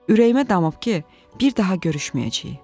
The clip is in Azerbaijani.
"Ürəyimə damıb ki, bir daha görüşməyəcəyik.